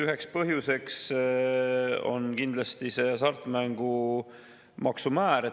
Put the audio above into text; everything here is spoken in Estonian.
Üheks põhjuseks on kindlasti hasartmängumaksu määr.